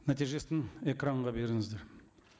нәтижесін экранға беріңіздер